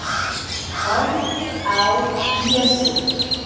Horfði á Jesú.